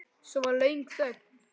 Svo var löng þögn.